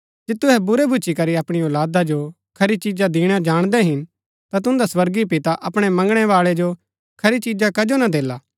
जे तुहै बुरै भूच्ची करी अपणी औलादा जो खरी चिजा दिणा जाणदै हिन ता तुन्दा स्वर्गीय पिता अपणै मंगणै बाळै जो खरी चिजा कजो ना देला